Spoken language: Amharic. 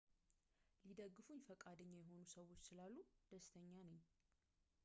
ሊደግፉኝ ፈቃደኛ የሆኑ ሰዎች ስላሉ ደስተኛ ነኝ